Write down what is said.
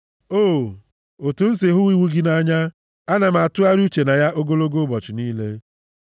O, otu m si hụ iwu gị nʼanya! Ana m atụgharị uche na ya ogologo ụbọchị niile.